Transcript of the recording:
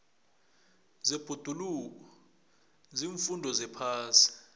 zebhoduluko ziimfundo zephasi